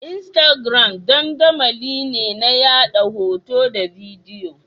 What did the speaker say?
Instagram dandamali ne na yaɗa hoto da bidiyo.